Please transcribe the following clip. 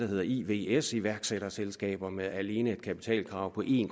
hedder ivs iværksætterselskaber med alene et kapitalkrav på en